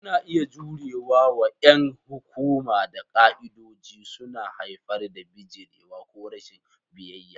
Suna iya jure wa ƴan hukuma da ƙa'idodi, suna haifar da bijirewa ko rashin biyayya.